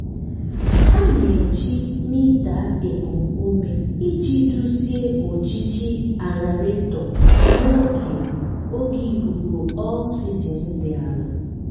anyị na-eji mita ekum ume iji duzie ojiji aerator n'oge oge ikuku oxygen dị ala.